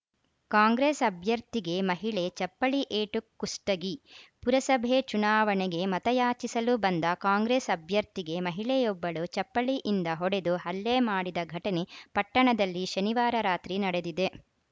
ಕಾಂಗ್ರೆಸ್‌ ಅಭ್ಯರ್ಥಿಗೆ ಮಹಿಳೆ ಚಪ್ಪಲಿ ಏಟು ಕುಷ್ಟಗಿ ಪುರಸಭೆ ಚುನಾವಣೆಗೆ ಮತಯಾಚಿಸಲು ಬಂದ ಕಾಂಗ್ರೆಸ್‌ ಅಭ್ಯರ್ಥಿಗೆ ಮಹಿಳೆಯೊಬ್ಬಳು ಚಪ್ಪಲಿಯಿಂದ ಹೊಡೆದು ಹಲ್ಲೆ ಮಾಡಿದ ಘಟನೆ ಪಟ್ಟಣದಲ್ಲಿ ಶನಿವಾರ ರಾತ್ರಿ ನಡೆದಿದೆ